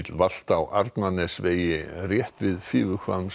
valt á Arnarnesvegi rétt við